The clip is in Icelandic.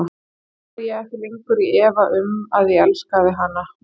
Nú var ég ekki lengur í efa um, að ég elskaði hana.